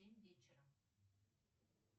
в семь вечера